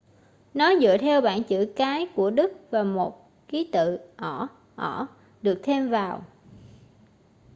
nó dựa theo bảng chữ cái của đức và một ký tự õ/õ được thêm vào